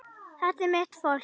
Þetta er mitt fólk.